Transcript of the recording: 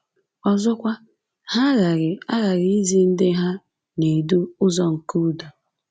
Ọzọkwa, ha aghaghị aghaghị izi ndị ha na-edu ụzọ nke udo.